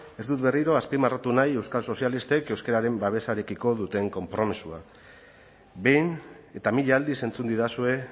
ez dut berriro azpimarratu nahi euskal sozialistek euskararen babesarekiko duten konpromisoa behin eta mila aldiz entzun didazue